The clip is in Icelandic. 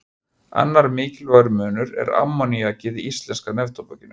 Annar mikilvægur munur er ammoníakið í íslenska neftóbakinu.